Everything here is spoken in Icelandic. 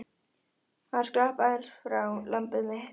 Hann skrapp aðeins frá, lambið mitt.